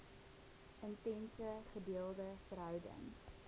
intense gedeelde verhouding